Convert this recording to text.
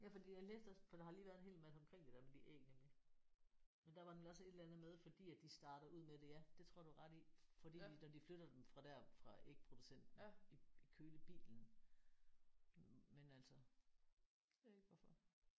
Ja fordi jeg læste også for der har lige været en hel masse omkring det der med de æg nemlig. Men der var nemlig også et eller andet med fordi at de starter ud med det ja. Det tror jeg du har ret i. Fordi de når de flytter dem fra der fra ægproducenten i kølebilen men altså jeg ved ikke hvorfor